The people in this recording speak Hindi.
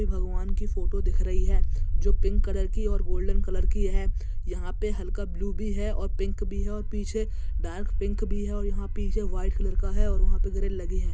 यह भगवान की फोटो दिख रही है जो पिंक कलर की और गोल्डन कलर की है यहाँ पे हल्का ब्लू भी है और पिंक भी है और पीछे डार्क पिक भी है और यहाँ पीछे वाइट कलर का है और वहा पे ग्रिल लगी हैं।